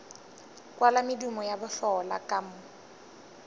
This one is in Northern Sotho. kwala medumo ya bohlola ka